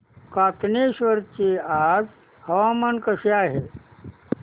कातनेश्वर चे आज हवामान कसे आहे